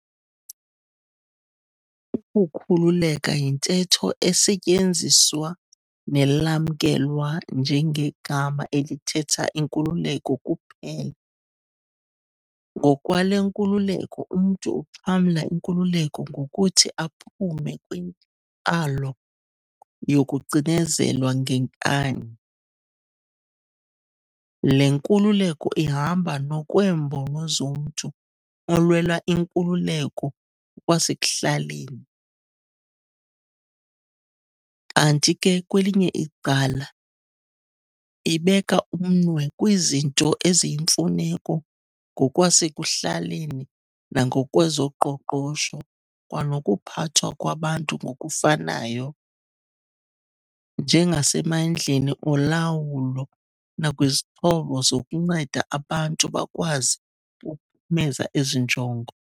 Ukukhululeka yintetho esetyenziswa nelamkelwa njengegama elithehta inkululeko kuphela, ngokwale nkululeko umntu uxhamla inkululeko ngokuthi aphume kwintlalo yokucinezelwa ngenkani, le nkululeko ihamba nokweembono zomntu olwela inkululeko ngokwasekuhlaleni, kanti ke kwelinye icala, ibeka umnwe kwizinto eziyimfuneko ngokwasekuhlaleni nangokwezoqoqosho kwanokuphathwa kwabantu ngokufanayo, njengasemandleni olawulo nakwizixhobo zokunceda abantu bakwazi ukuphumeza ezi njongo.